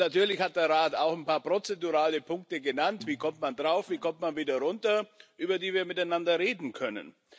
Und natürlich hat der Rat auch ein paar prozedurale Punkte genannt wie kommt man drauf, wie kommt man wieder runter über die wir miteinander reden können.